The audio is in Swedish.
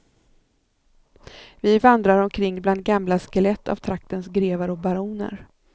Vi vandrar omkring bland gamla skelett av traktens grevar och baroner.